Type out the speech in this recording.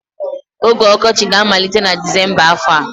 Oge ọkọchị ga-amalite na Disemba afọ a.